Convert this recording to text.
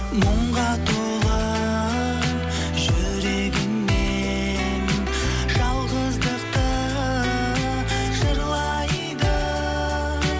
мұңға толы жүрегімен жалғаздықты жырлайды